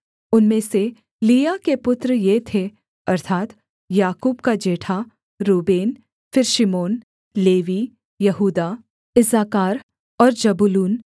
उनमें से लिआ के पुत्र ये थे अर्थात् याकूब का जेठा रूबेन फिर शिमोन लेवी यहूदा इस्साकार और जबूलून